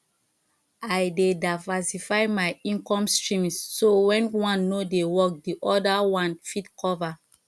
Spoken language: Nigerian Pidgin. i dey diversify my income streams so when one no dey work di other one fit cover